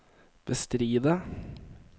bestride